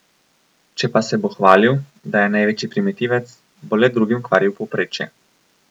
Če pa se bo hvalil, da je največji primitivec, bo le drugim kvaril povprečje.